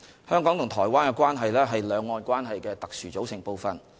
香港和台灣的關係，是兩岸關係的特殊組成部分。